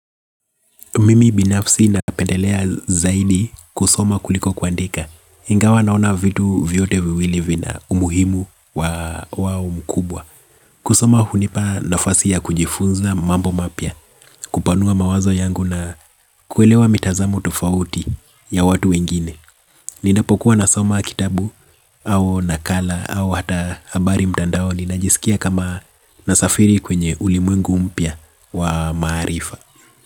Mimi binafsi napendelea zaidi kusoma kuliko kuandika. Ingawa naona vitu vyote viwili vina umuhimu wa ukubwa. Kusoma hunipa nafasi ya kujifunza mambo mapya. Kupanua mawazo yangu na kuelewa mitazamo tofauti ya watu wengine. Ninapokuwa nasoma kitabu au nakala au hata habari mtandao. Ninajisikia kama nasafiri kwenye ulimwengu mpya wa maarifa.